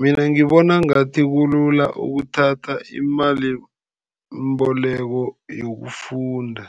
Mina ngibona ngathi kulula ukuthatha imalimboleko yokufunda,